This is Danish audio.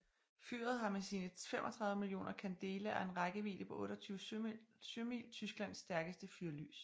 Fyret har med sine 35 mio candela og en rækkevidde på 28 sømil Tysklands stærkeste fyrlys